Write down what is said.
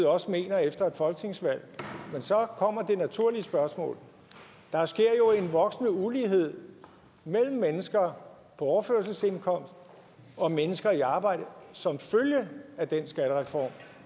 også mener efter et folketingsvalg men så kommer det naturlige spørgsmål der sker jo en voksende ulighed mellem mennesker på overførselsindkomst og mennesker i arbejde som følge af den skattereform